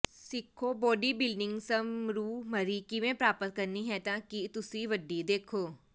ਸਿੱਖੋ ਬੌਡੀਬਿਲਡਿੰਗ ਸਮਰੂਮਰੀ ਕਿਵੇਂ ਪ੍ਰਾਪਤ ਕਰਨੀ ਹੈ ਤਾਂ ਕਿ ਤੁਸੀਂ ਵੱਡੀ ਦੇਖੋ